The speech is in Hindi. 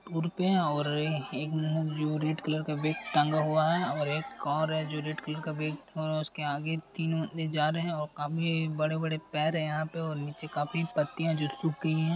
उर पे और है जो रेड कलर का बेग टांगा हुआ है और एक और है जो रेड कलर का बेग और उसके आगे तीन बंदे जा रहे है और काफी बड़े बड़े पेड़ है यहां पे और नीचे काफी पत्तियां जो सूख गयी है।